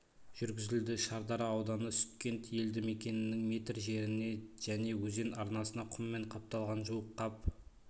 жүргізілді шардара ауданы сүткент елді мекенінің метр жеріне және өзен арнасына құммен қапталған жуық қап